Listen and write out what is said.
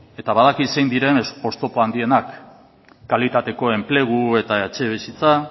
eta badakit zein diren oztopo handienak kalitateko enplegu eta etxebizitza